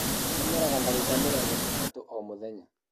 Ndengeraga ndagĩka mĩrongo ĩtatũ o mũthenya.